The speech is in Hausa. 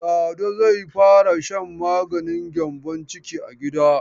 Lado zai fara shan maganin gyambon ciki a gida.